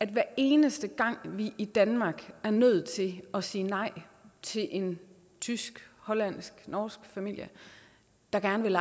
hver eneste gang vi i danmark er nødt til at sige nej til en tysk hollandsk norsk familie der gerne vil